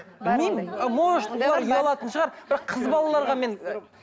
білмеймін может олар ұялатын шығар бірақ қыз балаларға мен